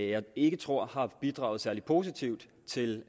jeg ikke tror har bidraget særlig positivt til